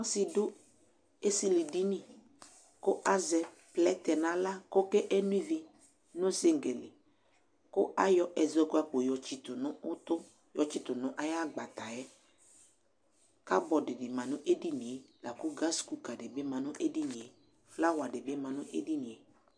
Ɔsi dʋ esili dini kʋ azɛ plɛtɛ nʋ aɣla kʋ ɔke no ivi nʋ sinki li kʋ ayɔ ɛzɔkpako yɔtsitʋ nʋ ʋtʋ yɔtsitʋ nʋ ayagbata yɛ Kabɔdʋ di ma nʋ edini e, la kʋ gasi-kuka di bi ma nʋ edini e Flawa di bi ma nʋ edini e